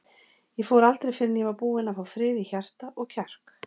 Ég fór aldrei fyrr en ég var búinn að fá frið í hjarta og kjark.